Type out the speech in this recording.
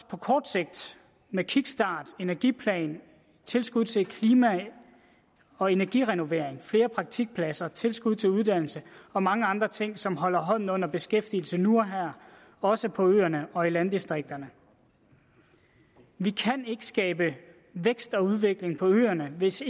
på kort sigt med kickstart energiplan tilskud til klima og energirenovering flere praktikpladser tilskud til uddannelse og mange andre ting som holder hånden under beskæftigelsen nu og her også på øerne og i landdistrikterne vi kan ikke skabe vækst og udvikling på øerne hvis